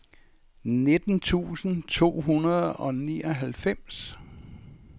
nitten tusind to hundrede og nioghalvfems